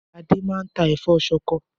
Adé maa n tà ẹ̀fọ́ soko